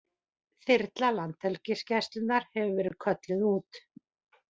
Þyrla Landhelgisgæslunnar hefur verið kölluð út